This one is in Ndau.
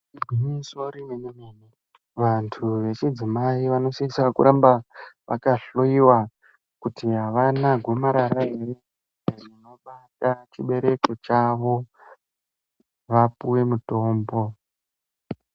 Igwinyiso remene mene vantu vechidzimai vanosisa kuramba vakahloyiwa kuti avana gomarara ere rinobata chibereko chavo vapuwe mutombo.